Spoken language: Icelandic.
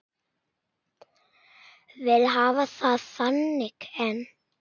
Vil hafa það þannig enn.